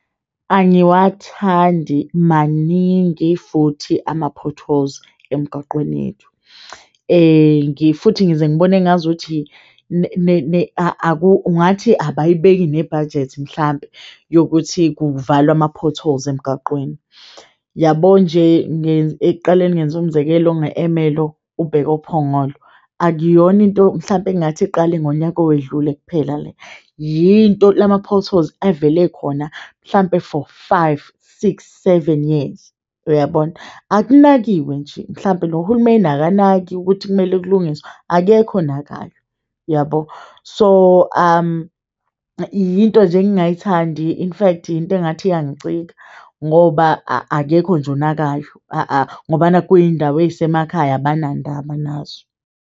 Angiwathandi maningi futhi ama-potholes emgaqweni yethu, futhi ngize ngibone engazuthi ungathi abayibeki nebhajethi mhlampe yokuthi kuvalwe ama-potholes emgaqweni yabo nje, ekuqaleni ngenza umzekelo nge-Emerlo ubheke oPhongolo, akuyona into mhlampe ekungathi iqale ngonyaka owedlule kuphela le yinto lama-potholes evele khona mhlampe for five, six, seven years. Uyabona, akunakiwe nje mhlampe nohulumeni akanaki ukuthi kumele kulungiswe. Akekho onakayo yabo, so yinto nje engingayithandi in fact into engathi iyangicika ngoba akekho nje onakayo ngoba nakhu kuyindawo eyisemakhaya abanandaba nazo.